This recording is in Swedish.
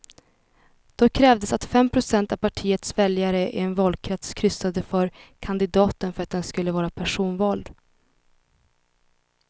Då krävdes att fem procent av partiets väljare i en valkrets kryssade för kandidaten för att den skulle vara personvald.